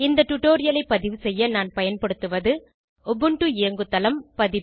இந்த டுடோரியலை பதிவு செய்ய நான் பயன்படுத்துவது உபுண்டு இயங்குதளம் பதிப்பு